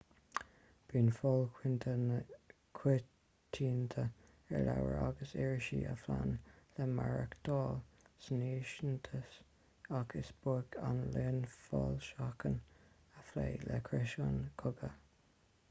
bíonn fáil choitianta ar leabhar agus irisí a phléann le maireachtáil san fhiántais ach is beag an líon foilseachán a phléann le criosanna cogaidh